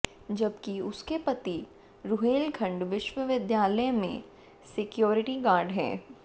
जबकि उसके पति रुहेलखंड विश्वविद्यालय में सिक्योरिटी गार्ड है